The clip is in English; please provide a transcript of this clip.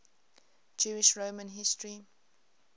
jewish roman history